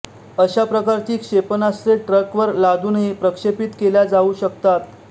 अशा प्रकारची क्षेपणास्त्रे ट्रकवर लादुनही प्रक्षेपित केल्या जाऊ शकतात